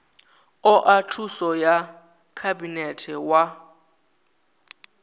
oa thuso ya khabinete wa